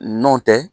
N'o tɛ